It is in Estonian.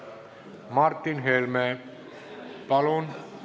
Martin Helme, palun!